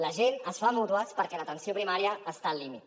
la gent es fa de mútues perquè l’atenció primària està al límit